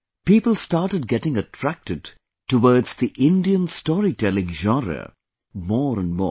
People started getting attracted towards the Indian storytelling genre, more and more